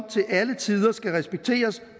til alle tider skal respekteres